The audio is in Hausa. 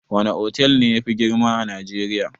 Wana otal ne yafi girma a najeriya?